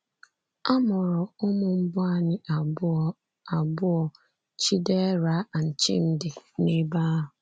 A mụrụ ụmụ mbụ anyị abụọ, abụọ, Chidera and Chimdi, n'ebe ahụ.